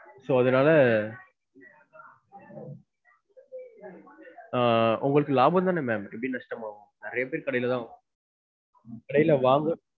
So அதுனால ஆஹ் உங்களுக்கு லாபம் தான ma'am எப்படி நஷ்டம் ஆகும். நிறையா பேர் கடைல தான் வாங்கனும். கடைல வாங்க